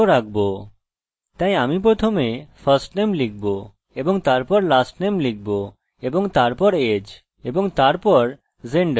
তাই আমি প্রথমে firstname লিখবো এবং তারপর lastname লিখবো এবং তারপর age এবং তারপর gender